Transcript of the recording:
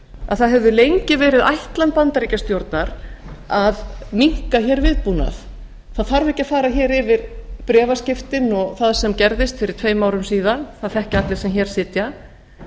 að það hefur lengi verið ætlan bandaríkjastjórnar að minnka hér viðbúnað það þarf ekki að fara hér yfir bréfaskiptin og það sem gerðist fyrir tveim árum síðan það þekkja allir sem hér sitja